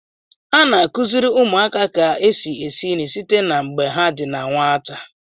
A na-akụziri ụmụaka ka esi esi nri site na mgbe ha di na nwata.